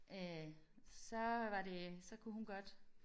Øh så var det så kunne hun godt